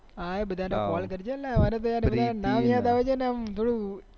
હા એ બધા ને call જ ને બધા ના નામ યાદ આવે છે ને આમ થોડું